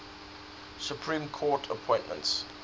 supreme court appointments